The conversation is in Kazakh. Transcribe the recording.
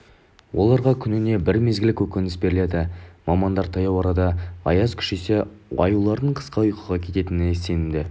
оларға күніне бір мезгіл көкөніс беріледі мамандар таяу арада аяз күшейсе аюлардың қысқы ұйқыға кететініне сенеді